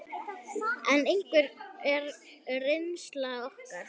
En hver er reynsla okkar?